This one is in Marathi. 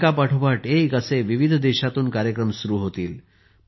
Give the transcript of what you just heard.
एका पाठोपाठ एक असे विविध देशातून कार्यक्रम सुरू होतील